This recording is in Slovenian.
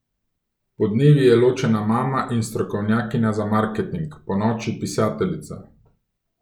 Podnevi je ločena mama in strokovnjakinja za marketing, ponoči pisateljica.